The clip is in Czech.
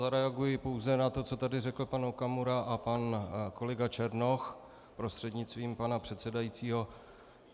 Zareaguji pouze na to, co tady řekl pan Okamura a pan kolega Černoch, prostřednictvím pana předsedajícího.